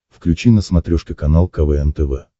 включи на смотрешке канал квн тв